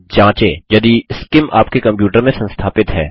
जाँचें यदि सीआईएम आपके कंप्यूटर में संस्थापित है